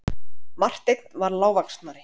Marteinn var lágvaxnari.